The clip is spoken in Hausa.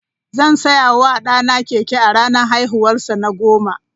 Zan saya wa ɗana keke a ranar haihuwarsa na goma.